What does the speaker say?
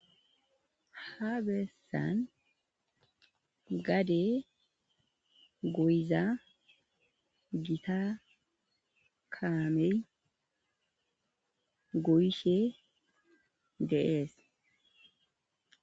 Ha beessan gaade goyiza gitta kaamey goyishe de'es.